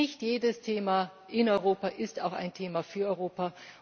Nicht jedes Thema in Europa ist auch ein Thema für Europa.